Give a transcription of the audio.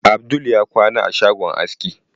Abdul ya kwana a shagon aski.